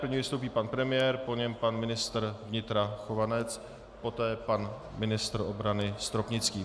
Prvně vystoupí pan premiér, po něm pan ministr vnitra Chovanec, poté pan ministr obrany Stropnický.